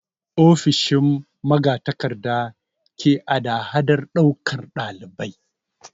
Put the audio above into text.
Ofishin magatakarda ke hadahadar ɗaukan ɗalibai.